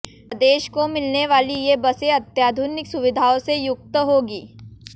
प्रदेश को मिलने वाली ये बसें अत्याधुनिक सुविधाओं से युक्त होंगी